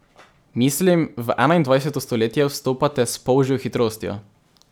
Mislim, v enaindvajseto stoletje vstopate s polžjo hitrostjo.